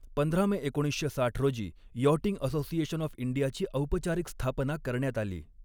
पंधरा मे एकोणीसशे साठ रोजी यॉटिंग असोसिएशन ऑफ इंडियाची औपचारिक स्थापना करण्यात आली.